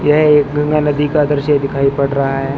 यह एक गंगा नदी का दृश्य दिखाई पड़ रहा है।